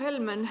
Hea Helmen!